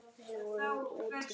Við vorum úti í